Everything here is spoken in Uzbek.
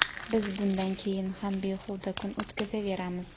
biz bundan keyin ham behuda kun o‘tkazaveramiz.